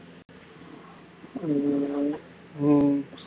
ஹம் ஹம்